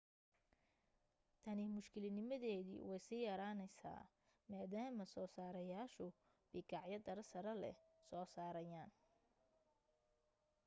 tani mushkiladnimadeedii way sii yaraanaysaa maadaama soo saarayaashu bikaacyo tayo sare leh soo saarayaan